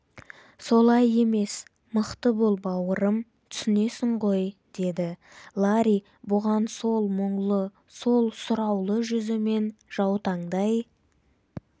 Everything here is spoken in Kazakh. солай емес мықты бол бауырым түсінесің ғой деді ларри бұған сол мұңлы сол сұраулы жүзімен жаутаңдай